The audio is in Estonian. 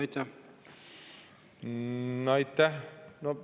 Aitäh!